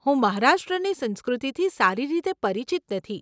હું મહારાષ્ટ્રની સંસ્કૃતિથી સારી રીતે પરિચિત નથી.